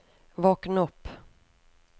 våkn opp